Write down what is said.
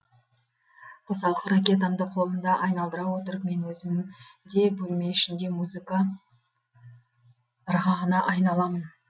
қосалқы ракеткамды қолымда айналдара отырып мен өзім де бөлме ішінде музыка ырғағына айналамын